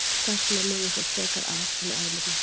Þess vegna lifðu þau frekar af en eðlurnar.